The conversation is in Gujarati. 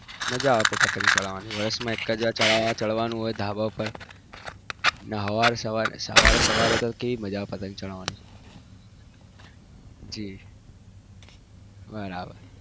મજા આવે છે પતગ વરસ માં એક વાર જ ચઢાવા ચડવાનું હોય ધાબા ઉપર ના સવારે સવારે કેવી મજા આવે પતંગ ચગાવાની જી બરાબર